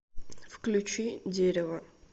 включи дерево